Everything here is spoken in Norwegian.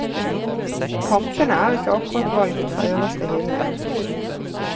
Kampene er ikke akkurat valgt fra øverste hylle.